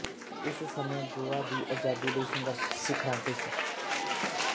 ਇਸ ਸਮੇਂ ਗੋਆ ਦੀ ਆਜ਼ਾਦੀ ਲਈ ਸੰਘਰਸ਼ ਸਿਖਰਾਂ ਤੇ ਸੀ